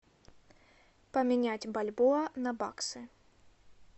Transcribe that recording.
поменять бальбоа на баксы